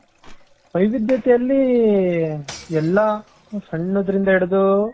ವೈವಿಧ್ಯತೆಯಲ್ಲಿ ಎಲ್ಲಾ ಸಣ್ಣದ್ರಿಂದ ಹಿಡಿದು.